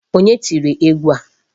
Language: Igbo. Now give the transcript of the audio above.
Onye tiri egwu a?